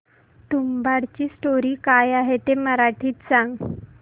तुंबाडची स्टोरी काय आहे ते मराठीत सांग